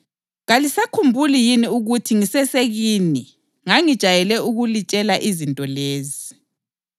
Kalisakhumbuli yini ukuthi ngisesekini ngangijayele ukulitshela izinto lezi?